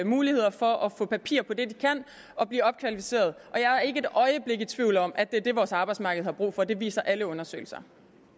muligheder for at få papir på det de kan og blive opkvalificeret jeg er ikke et øjeblik i tvivl om at det er det vores arbejdsmarked har brug for det viser alle undersøgelser